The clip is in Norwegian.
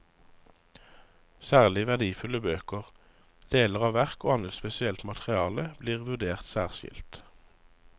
Særlig verdifulle bøker, deler av verk og annet spesielt materiale blir vurdert særskilt.